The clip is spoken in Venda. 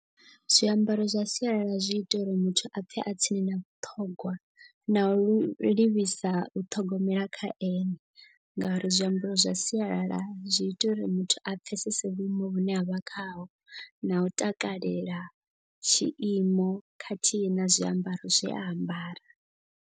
Zwiambaro zwa sialala zwi ita uri muthu a pfhe a tsini na vhuṱhogwa na lu livhisa u ṱhogomela kha ene. Ngauri zwiambaro zwa sialala zwi ita uri muthu a pfhesese vhuimo vhune avha khaho na u takalela tshiimo khathihi na zwiambaro zwe a ambara.